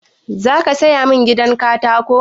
Za ka saya min gidan katako?